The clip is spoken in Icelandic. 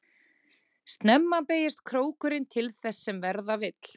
Snemma beygist krókurinn til þess sem verða vill.